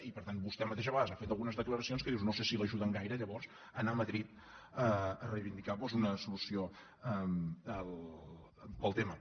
i per tant vostè mateix a vegades ha fet algunes declaracions en què dius no se si l’ajuden gaire llavors a anar a madrid a reivindicar doncs una solució per al tema